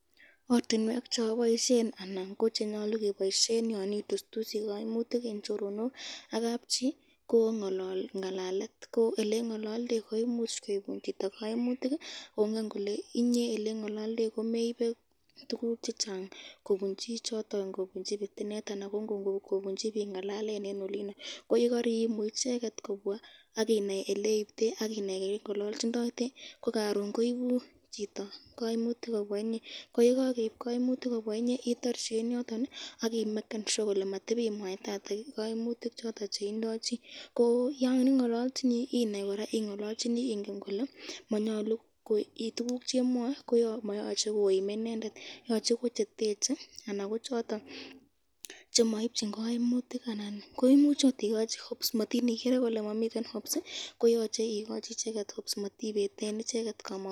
Ortinwek cheboisyen anan ko chenyalu keboisyen yon itustysi kaimutik ak kabchi ko ngalalet ,elengololdei koimuch koibun chito kaimutik kongen kole inye olengololdei k